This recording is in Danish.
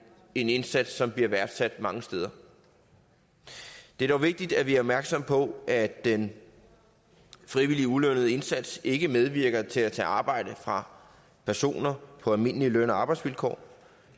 indsats som bliver værdsat mange steder det er dog vigtigt at vi er opmærksomme på at den frivillige ulønnede indsats ikke medvirker til at tage arbejdet fra personer på almindelige løn og arbejdsvilkår